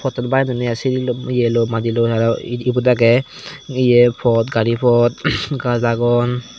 tutu baen donney sil lom eye lom madiloi arow ebot agey iye pot gari pot gaj agon.